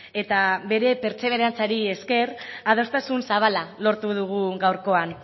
eta bere pertseberantziari ezker adostasun zabala lortu dugu gaurkoan